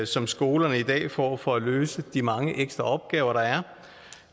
som skolerne i dag får for at løse de mange ekstra opgaver der er